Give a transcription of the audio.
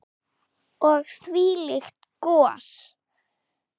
Og þvílíkt gos.